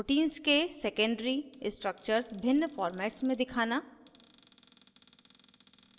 * proteins के secondary structure भिन्न formats में दिखाना